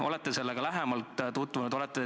Või olete te sellega lähemalt tutvunud?